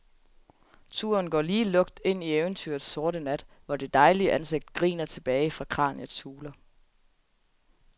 Turen går lige lukt ind i eventyrets sorte nat, hvor det dejlige ansigt griner tilbage fra kraniets huler.